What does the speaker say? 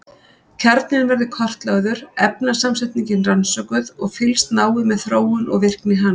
Kjarninn verður kortlagður, efnasamsetningin rannsökuð og fylgst náið með þróun og virkni hans.